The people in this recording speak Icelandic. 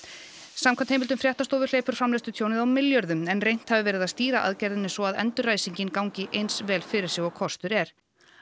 samkvæmt heimildum fréttastofu hleypur á milljörðum en reynt hafi verið að stýra aðgerðinni svo að endurræsingin gangi eins vel fyrir sig og kostur er